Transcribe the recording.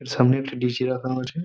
এর সামনে একটি রাখা আছে ।